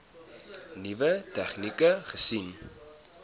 nuwe tegnieke gesien